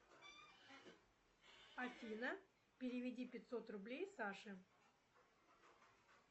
афина переведи пятьсот рублей саше